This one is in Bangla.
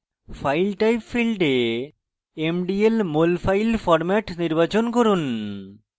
file type ফীল্ডে mdl molfile format নির্বাচন করুন